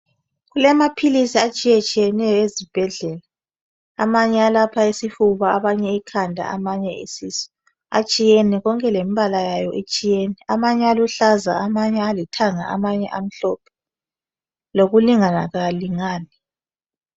kulamaphilisi atshiyetshiyeneyo ezibhedlela amanye alapha isifuba amanye ikhanda amanye isisu atshiyene konke lembala yayo itshiyene amanye aluhlaza amanye alithanga amanye amhlophe lokulingana kawalingani